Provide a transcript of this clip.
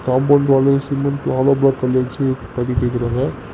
Compound wall cement hollow block கல் வெச்சு பண்ணிட்டிருக்கறாங்க.